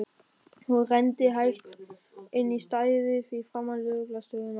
Hún renndi hægt inn á stæðið fyrir framan lögreglu stöðina.